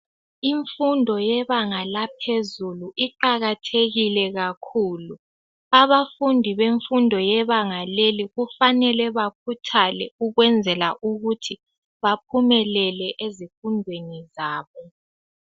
imfundo yebanga laphezulu iqakathekile kakhulu abafundi bemfundo yebanga leli kufanele bakhuthale ukwenzela ukuthi baphumelele ezifundweni zabo